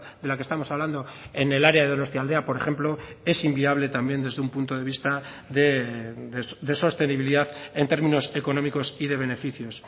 de la que estamos hablando en el área de donostialdea por ejemplo es inviable también desde un punto de vista de sostenibilidad en términos económicos y de beneficios